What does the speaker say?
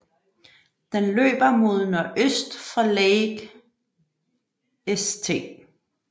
Den løber mod nordøst fra Lake St